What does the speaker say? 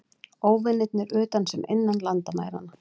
Óvinirnir utan sem innan landamæranna.